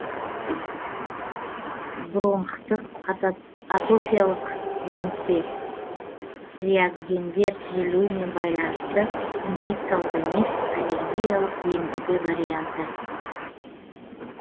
бронхтық атопиялық демікпе реагендер түзілуімен байланысты инфекциялық емес аллергиялық демікпе варианты